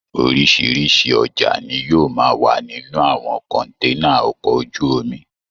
Oríṣiríṣi ọjà ni yóò máa wà nínú àwọn kọ̀ǹténà ọkọ̀ ojú omi